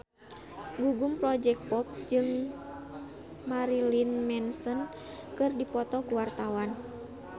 Gugum Project Pop jeung Marilyn Manson keur dipoto ku wartawan